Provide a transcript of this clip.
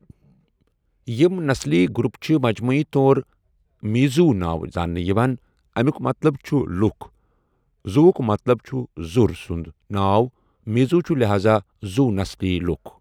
یِم نسلی گروُپ چھِ مجموعی طور میزو نٲوِ زاننہٕ یِوان، امیُک مطلب چھُ لُکھ، زو ہُک مطلب چھُ زُر سُنٛد ناو، میزو چُھ لہازا زوُ نسلی لُکھ۔